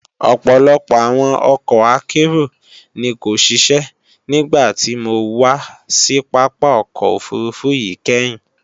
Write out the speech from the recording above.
Ọ̀pọ̀lọpọ̀ àwọn ọkọ̀ akérò ni kò ṣiṣẹ́ nígbàtí mo wà sí Pápá ọkọ̀ òfurufú yìí kẹ́hìn